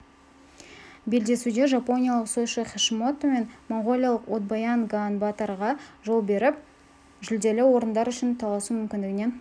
белдесуде жапониялық сойши хашимото мен моңғолиялық одбаян ганбаатарға жол беріп жүлделі орындар үшін таласу мүмкіндігінен